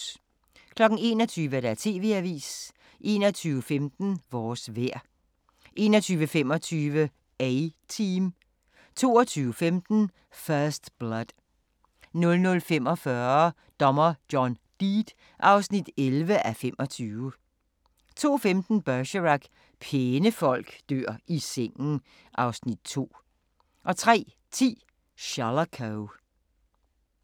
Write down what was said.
21:00: TV-avisen 21:15: Vores vejr 21:25: A-Team 23:15: First Blood 00:45: Dommer John Deed (11:25) 02:15: Bergerac: Pæne folk dør i sengen (Afs. 2) 03:10: Shalako